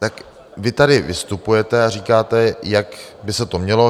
Tak vy tady vystupujete a říkáte, jak by se to mělo.